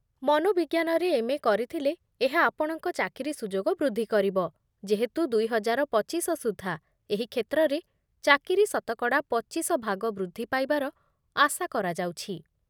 ମନୋବିଜ୍ଞାନରେ MA କରିଥିଲେ ଏହା ଆପଣଙ୍କ ଚାକିରୀ ସୁଯୋଗ ବୃଦ୍ଧି କରିବ, ଯେହେତୁ ଦୁଇ ହଜାର ପଚିଶ ସୁଦ୍ଧା ଏହି କ୍ଷେତ୍ରରେ ଚାକିରୀ ଶତକଡ଼ା ପଚିଶ ଭାଗ ବୃଦ୍ଧି ପାଇବାର ଆଶା କରାଯାଉଛି